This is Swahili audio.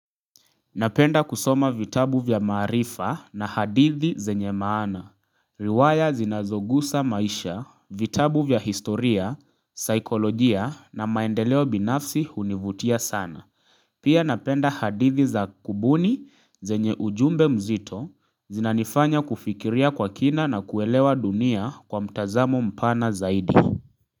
Napenda kusoma vitabu vya maarifa na hadithi zenye maana Liwaya zinazogusa maisha, vitabu vya historia, saikolojia na maendeleo binafsi hunivutia sana Pia napenda hadithi za kubuni zenye ujumbe mzito zinanifanya kufikiria kwa kina na kuelewa dunia kwa mtazamo mpana zaidi.